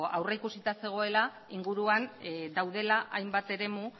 aurrikusita zegoela inguruan daudela hainbat eremu